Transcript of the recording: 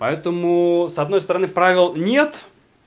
поэтому с одной стороны правил нет